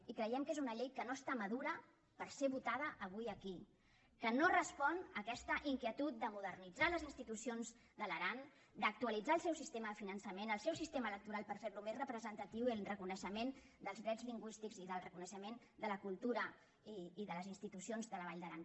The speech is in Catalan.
i creiem que és una llei que no està madura per ser votada avui aquí que no respon a aquesta inquietud de modernitzar les insti·tucions de l’aran d’actualitzar el seu sistema de fi·nançament el seu sistema electoral per fer·lo més re·presentatiu i el reconeixement dels drets lingüístics i el reconeixement de la cultura i de les institucions de la vall d’aran